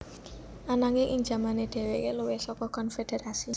Ananging ing jamane dhèwèké luwih saka konfederasi